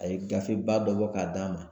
A ye gafeba dɔ bɔ k'a d'a ma .